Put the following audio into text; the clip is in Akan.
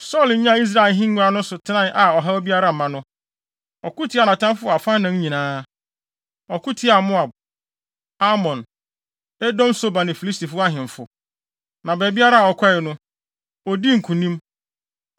Saulo nyaa Israel ahengua no so tenae a ɔhaw biara mma no, ɔko tiaa nʼatamfo wɔ afanan nyinaa. Ɔko tiaa Moab, Amon, Edom Soba ne Filistifo ahemfo. Na baabiara a ɔkɔe no, odii nkonim.